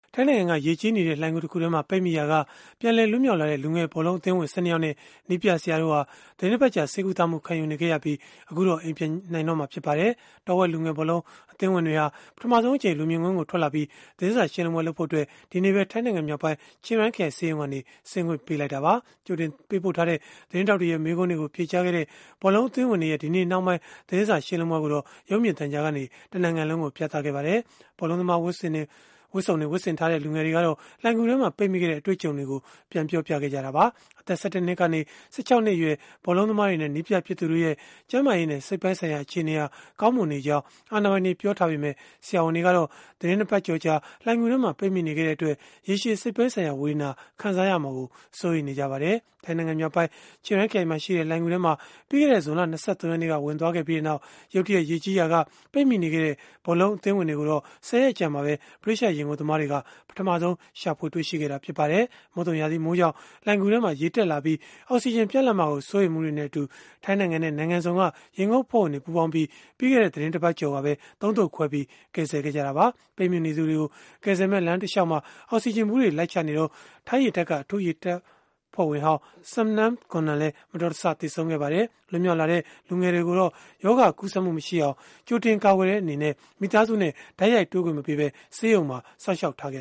ထိုင်းနိုင်ငံက ရေကြီးနေတဲ့ လှိုဏ်ဂူတခုထဲမှာ ပိတ်မိရာက ပြန်လည်လွတ်မြောက်လာတဲ့ လူငယ်ဘောလုံးအသင်းဝင် ၁၂ ယောက်နဲ့ နည်းပြဆရာတို့ဟာ သီတင်းတပတ်ကြာ ဆေးကုသမှုခံယူနေခဲ့ရပြီး အခုတော့ အိမ်ပြန်နိုင်တော့မှာ ဖြစ်ပါတယ်။ တောဝက် လူငယ်ဘောလုံး အသင်းဝင်တွေဟာ ပထမဆုံးအကြိမ် လူမြင်ကွင်းကို ထွက်လာပြီး သတင်းစာရှင်းလင်းပွဲ လုပ်ဖို့အတွက် ဒီနေ့ပဲ ထိုင်းနိုင်ငံမြောက်ပိုင်း ချင်းရိုင်ခရိုင်က ဆေးရုံကနေ ဆင်းခွင့်ပြုလိုက်တာပါ။ ကြိုတင်ပေးပို့ထားတဲ့ သတင်းထောက်တွေရဲ့ မေးခွန်းတွေကို ဖြေကြားခဲ့တဲ့ ဘောလုံးအသင်းဝင်တွေရဲ့ ဒီနေ့နှောင်းပိုင်း သတင်းစာရှင်းလင်းပွဲကိုတော့ ရုပ်မြင်သံကြားကနေ တနိုင်ငံလုံးကို ပြသခဲ့ပါတယ်။ ဘောလုံးသမားဝတ်စုံ ဝတ်ဆင်ထားတဲ့ လူငယ်တွေကတော့ လှိုဏ်ဂူထဲမှာ ပိတ်မိခဲ့တဲ့ အတွေ့အကြုံတွေကို ပြန်ပြောပြခဲ့ကြတာပါ။ အသက် ၁၁ နှစ်ကနေ ၁၆ နှစ်အရွယ် ဘောလုံးသမားတွေနဲ့ နည်းပြဖြစ်သူတို့ရဲ့ ကျန်းမာရေးနဲ့ စိတ်ပိုင်းဆိုင်ရာ အခြေအနေဟာ ကောင်းမွန်နေကြောင်း အာဏာပိုင်တွေက ပြောဆိုထားကြပေမဲ့၊ ဆရာဝန်တွေကတော့ သီတင်း ၂ ပတ်ကျော်ကြာ လှိုဏ်ဂူထဲမှာ ပိတ်မိနေခဲ့တဲ့အတွက် ရေရှည်စိတ်ပိုင်းဆိုင်ရာ ဝေဒနာ ခံစားရမှာကို စိုးရိမ်နေကြပါတယ်။ ထိုင်းနိုင်ငံမြောက်ပိုင်း ချင်းရိုင်ခရိုင်မှာရှိတဲ့ လှိုဏ်ဂူထဲမှာ ပြီးခဲ့တဲ့ ဇွန်လ ၂၃ ရက်နေ့က ဝင်သွားခဲ့ပြီးနောက် ရုတ်တရက် ရေကြီးရာက ပိတ်မိနေခဲ့တဲ့ ဘောလုံးအသင်းဝင်တွေကိုတော့ ၁၀ ရက်အကြာမှာပဲ၊ ဗြိတိသျှ ရေငုပ်သမားတွေက ပထမဆုံး ရှာဖွေတွေ့ရှိခဲ့တာ ဖြစ်ပါတယ်။ မုတ်သုန်ရာသီမိုးကြောင့် လှိုဏ်ဂူထဲမှာ ရေတက်လာပြီး၊ အောက်စီဂျင် ပြတ်လပ်မှာကို စိုးရိမ်မှုတွေနဲ့အတူ ထိုင်းနိုင်ငံနဲ့ နိုင်ငံစုံက ရေငုပ်အဖွဲ့ဝင်တွေပူးပေါင်းပြီး၊ ပြီးခဲ့တဲ့ သီတင်းတပတ်ကျော်ကပဲ ၃ သုတ်ခွဲပြီး ကယ်ဆယ်ခဲ့ကြတာပါ။ က ပိတ်မိနေသူတွေကို ကယ်ဆယ်မယ့် လမ်းကြောင်းတလျှောက်မှာ အောက်စီဂျင်ဗူးတွေ လိုက်ချနေစဉ်၊ ထိုင်းရေတပ်က အထူးရေငုပ်တပ်ဖွဲ့ဝင်ဟောင်း Saman Gunan လည်း မတော်တဆ သေဆုံးခဲ့ပါတယ်။ လွတ်မြောက်လာတဲ့ လူငယ်တွေကိုတော့ ရောဂါကူးစက်မှုမရှိအောင် ကြိုတင်ကာကွယ်တဲ့ အနေနဲ့ မိသားစုနဲ့ တိုက်ရိုက်တွေ့ခွင့်မပေးဘဲ ဆေးရုံမှာစောင့်ရှောက် ထားခဲ့